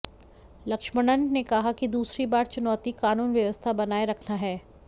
लक्ष्मणन ने कहा कि दूसरी बड़ी चुनौती कानून व्यवस्था बनाए रखना है